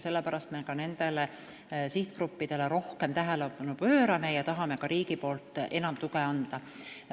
Sellepärast me pööramegi nendele sihtgruppidele rohkem tähelepanu ja tahame ka enam riigi tuge anda.